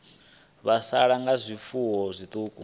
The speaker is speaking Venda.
vho sala nga zwifuwo zwiṱuku